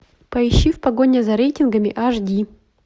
поищи в погоне за рейтингами аш ди